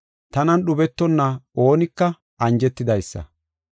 Tanan dhubetonna oonika anjetidaysa.”